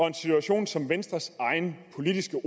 en situation som venstres egen politiske